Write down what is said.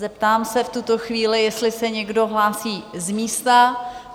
Zeptám se v tuto chvíli, jestli se někdo hlásí z místa?